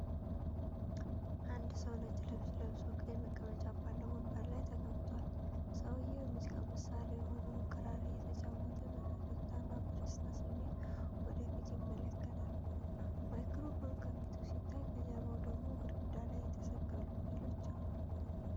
አንድ ሰው ነጭ ልብስ ለብሶ፤ ቀይ መቀመጫ ባለው ወንበር ላይ ተቀምጧል። ሰውየው የሙዚቃ መሣሪያ የሆነውን ክራር እየተጫወተ፤ በፈገግታና በደስታ ስሜት ወደ ፊት ይመለከታል። ማይክሮፎን ከፊቱ ሲታይ፤ ከጀርባው ደግሞ ግድግዳ ላይ የተሰቀሉ ሥዕሎች አሉ።